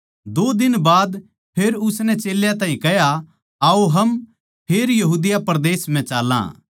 दो दिन बाद फेर उसनै चेल्यां ताहीं कह्या आओ हम फेर यहूदा परदेस म्ह चाल्लां